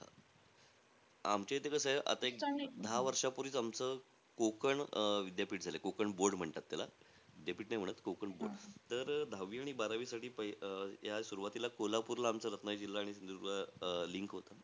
आमच्या इथे कसं आहे, आता एक दहा वर्ष पूर्वीचं आमचं कोकण अं विद्यापीठ झालंय. कोकण board म्हणतात त्याला. विद्यापीठ नाही म्हणत, कोकण board. तर अं दहावी आणि बारावीसाठी अं या सुरवातीला कोल्हापूरला आमचं रत्नागिरी जिल्हा आणि सिंधुदुर्ग अं link होता.